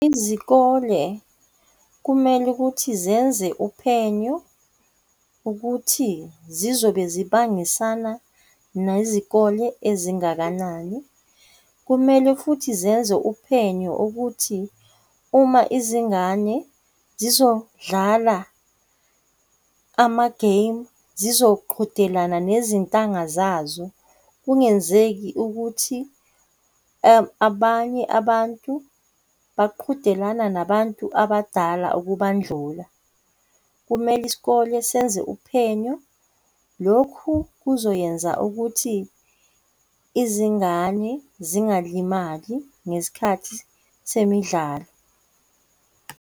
Izikole kumele ukuthi zenze uphenyo ukuthi zizobe zibangisana nezikole ezingakanani. Kumele futhi zenze uphenyo ukuthi uma izingane zizodlala ama-game zizoqhudelana nezintanga zazo kungenzeki ukuthi abanye abantu beqhudelana nabantu abadala ukubandlula. Kumele isikole senze uphenyo. Lokhu kuzoyenza ukuthi izingane zingalimazani ngesikhathi semidlalo.